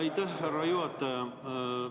Aitäh, härra juhataja!